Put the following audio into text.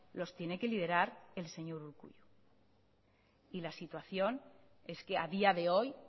los tiene que liderar el señor urkullu y la situación es que a día de hoy